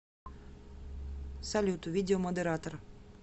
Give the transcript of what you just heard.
салют видео модератор